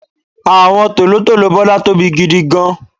àwọn tòlótòló Bola tóbi gidigan